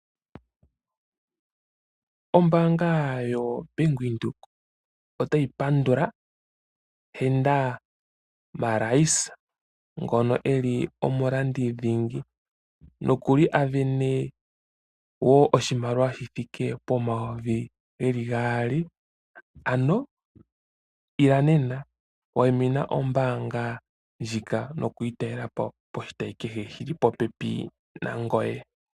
Ombaanga yoBank Windhoek otayi pandula Henda Marais, ngono e li omulandi dhingi noku li a sindana wo oshimaliwa shi thike pomayovi geli gaali. Ano ila nena, wayimina ombaanga ndjika noku yi talela po poshitayi kehe shili popepi nangoye.